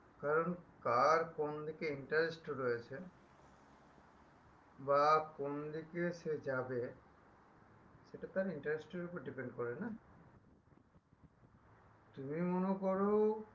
কারণ কার কোন দিকে interest রয়েছে বা কোনদিকে সে যাবে সেটা তার interest এর উপর depend করে না তুমিও মনে করো